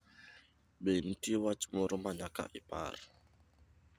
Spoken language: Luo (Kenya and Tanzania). Be nitie wach moro ma nyaka ipar